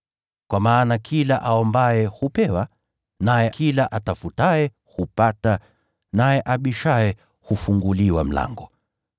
Kwa kuwa kila aombaye hupewa; naye kila atafutaye hupata; na kila abishaye hufunguliwa mlango.